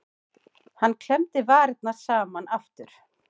Hann klemmdi varirnar saman aftur.